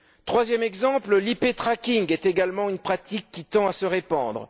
Troisième exemple, l' IP tracking est également une pratique qui tend à se répandre.